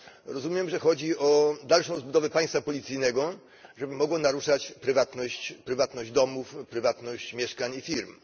Rozumiem, że chodzi o dalszą rozbudowę państwa policyjnego, żeby mogło naruszać prywatność domów, prywatność mieszkań i firm.